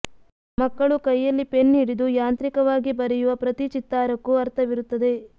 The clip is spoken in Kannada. ಮಕ್ಕಳು ಕೈಯಲ್ಲಿ ಪೆನ್ ಹಿಡಿದು ಯಾಂತ್ರಿಕವಾಗಿ ಬರೆಯುವ ಪ್ರತಿ ಚಿತ್ತಾರಕ್ಕೂ ಅರ್ಥವಿರುತ್ತದೆ